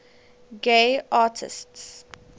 gay artists